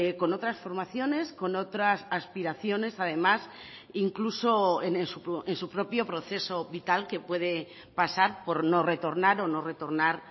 con otras formaciones con otras aspiraciones además incluso en su propio proceso vital que puede pasar por no retornar o no retornar